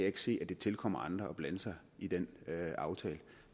ikke se at det tilkommer andre at blande sig i den aftale